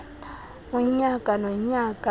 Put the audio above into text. unyaka nonyaka leliphi